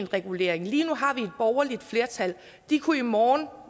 regulering lige nu har vi et borgerligt flertal de kunne i morgen